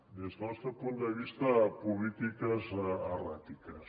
des del nostre punt de vista polítiques erràtiques